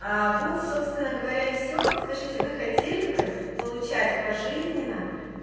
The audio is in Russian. а вот собственно говоря и всё скажите вы хотели бы получать пожизненно